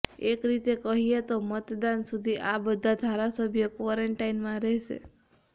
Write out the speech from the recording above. એક રીતે કહીએ તો મતદાન સુધી આ બધા ધારાસભ્યો ક્વોરન્ટાઈનમાં રહેશે